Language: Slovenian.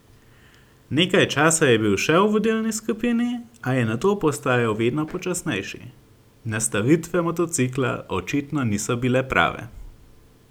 Nekaj časa je bil še v vodilni skupini, a je nato postajal vedno počasnejši: "Nastavitve motocikla očitno niso bile prave.